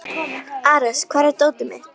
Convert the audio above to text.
Ares, hvar er dótið mitt?